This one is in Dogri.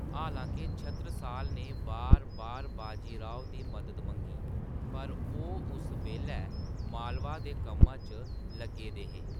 हालांके छत्रसाल ने बार-बार बाजी राव दी मदद मंगी, पर ओह्‌‌ उस बेल्लै मालवा दे कम्मा च लग्गे दे हे।